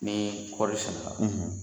Ni kɔɔri sɛnɛ la